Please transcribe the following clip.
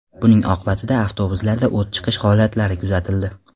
Buning oqibatida avtobuslarda o‘t chiqish holatlari kuzatildi.